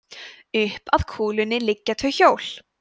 upp að kúlunni liggja tvö hjól